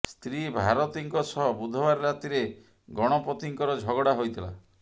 ସ୍ତ୍ରୀ ଭାରତୀଙ୍କ ସହ ବୁଧବାର ରାତିରେ ଗଣପତିଙ୍କର ଝଗଡ଼ା ହୋଇଥିଲା